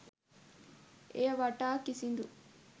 එය වටා කිසිදු